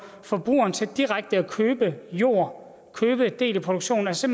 forbrugeren til direkte at købe jord købe en del af produktionen altså